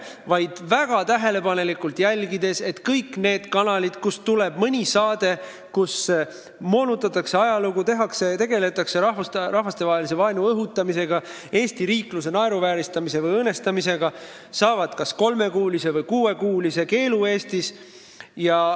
Neid jälgitakse väga tähelepanelikult ja kõik kanalid, kust tuleb mõni saade, kus moonutatakse ajalugu, tegeletakse rahvastevahelise vaenu õhutamisega, Eesti riikluse naeruvääristamise või õõnestamisega, saavad Eestis kas kolmekuulise või kuuekuulise eetrikeelu.